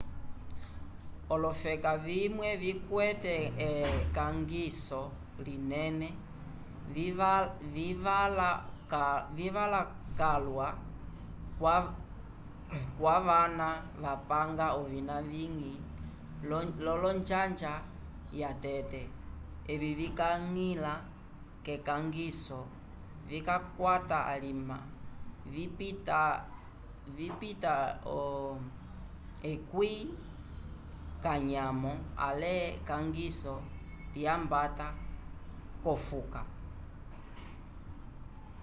olofeka vimwe vikwete ekangiso linene vivala calwa kwavana vapanga ovina vivĩ v'onjanja yatete evi vikañgila k'ekangiso vikakwata alima vipita 10 k'anyamo ale ekangiso lyambata k'okufa